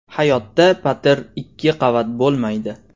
Hayotda patir ikki qavat bo‘lmaydi.